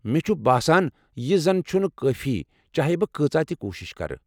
مےچُھ باسان یہِ زن چُھنہٕ کٲفی چاہے بہٕ کۭژاہ تہِ کوٗشش کرٕ۔